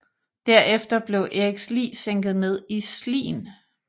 Derefter blev Eriks lig sænket ned i Slien